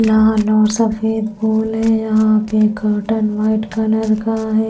लाल और सफेद फूल है यहां पे कर्टेन व्हाइट कलर का है।